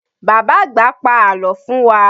Bàbá àgbà pa àlọ́ fún wa.